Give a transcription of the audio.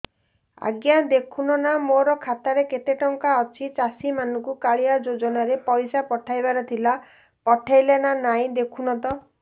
ଆଜ୍ଞା ଦେଖୁନ ନା ମୋର ଖାତାରେ କେତେ ଟଙ୍କା ଅଛି ଚାଷୀ ମାନଙ୍କୁ କାଳିଆ ଯୁଜୁନା ରେ ପଇସା ପଠେଇବାର ଥିଲା ପଠେଇଲା ନା ନାଇଁ ଦେଖୁନ ତ